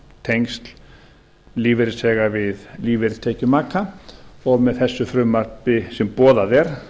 tengsl lífeyrisþega við lífeyri og tekjur maka og með þessu frumvarpi sem boðað